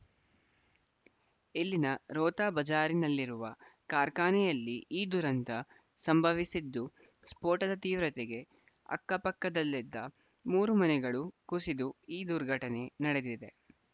ಇಲ್ಲಿನ ರೋಹ್ತಾ ಬಜಾರ್‌ನಲ್ಲಿರುವ ಕಾರ್ಖಾನೆಯಲ್ಲಿ ಈ ದುರಂತ ಸಂಭವಿಸಿದ್ದು ಸ್ಫೋಟದ ತೀವ್ರತೆಗೆ ಅಕ್ಕಪಕ್ಕದಲ್ಲಿದ್ದ ಮೂರು ಮನೆಗಳು ಕುಸಿದು ಈ ದುರ್ಘಟನೆ ನಡೆದಿದೆ